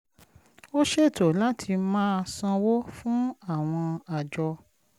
ó ṣètò láti máa sanwó fún àwọn àjọ